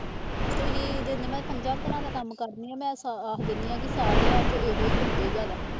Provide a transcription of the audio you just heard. ਤੁਸੀਂ ਦਿੰਦੇ ਮੈਂ ਪੰਜਾਂ ਘਰਾਂ ਦਾ ਕੰਮ ਕਰਦੀ ਹਾਂ ਮੈਂ ਆਖ ਦਿੰਦੀ ਹਾਂ ਵੀ ਸਾਰਿਆਂ ਚੋਂ ਇਹੋ ਦਿੰਦੇ ਜ਼ਿਆਦਾ।